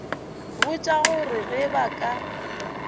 botša gore ge ba ka